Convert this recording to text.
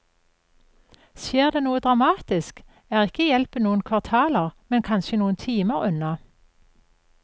Skjer det noe dramatisk, er ikke hjelpen noen kvartaler, men kanskje noen timer unna.